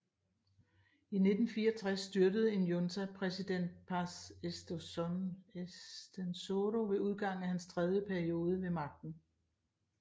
I 1964 styrtede en junta præsident Paz Estenssoro ved udgangen af hans tredje periode ved magten